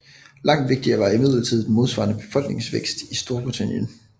Langt vigtigere var imidlertid den modsvarende befolkningsvækst i Storbritannien